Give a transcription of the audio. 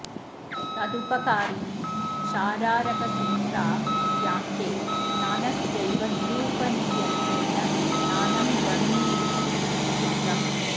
तदुपकारीणि शाराारकसूत्रा स्यान्ते ज्ञानस्यैव निरूपणीयत्वेन ज्ञानं ब्रह्मेति सिद्धम्